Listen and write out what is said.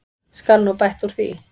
Skal nú bætt úr því.